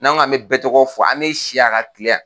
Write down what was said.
N k'an mɛ bɛɛ tɔgɔ fɔ an mi si yan ka kile yan